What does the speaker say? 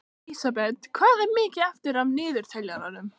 Lísebet, hvað er mikið eftir af niðurteljaranum?